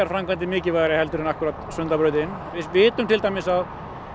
framkvæmdir mikilvægari heldur en akkúrat Sundabrautin við vitum til dæmis að